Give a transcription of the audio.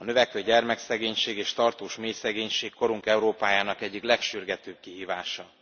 A növekvő gyermekszegénység és tartós mélyszegénység korunk Európájának egyik legsürgetőbb kihívása.